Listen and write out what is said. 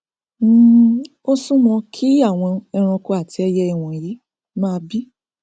um ó súwọn kí àwọn eranko àti ẹiyẹ wọnyí máa bí